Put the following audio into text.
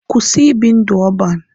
Kwụsị ibi ndụ ọban!